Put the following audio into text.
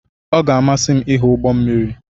Ọ ga-amasị m ịhụ ụgbọ mmiri.